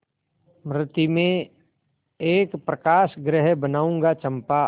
मृति में एक प्रकाशगृह बनाऊंगा चंपा